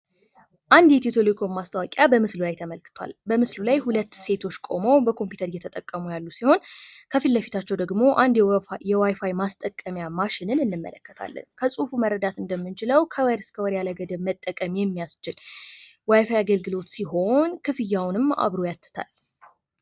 አንድ የኢትዮ ቴሌኮም ማስታወቂያ በምስሉ ላይ ተመልክቷል ፤ በምስሉ ላይ ሁለት ሴቶች ቁመው ኮምፕዩተር እየተጠቀሙ ያሉ ሲሆን ከፊት ለፊታቸው ደሞ አንድ የዋይፋይ ማስጠቀሚያ ማሽንን እንመለከታለን ፤ ከጽሁፉ መረዳት እንደምንችለው ከወር እስከ ወር ያለ ገደብ መጠቀም የሚያስችል ዋይፋይ አገልግሎት ሲሆን ክፍያዉንም አብሮ ያትታል።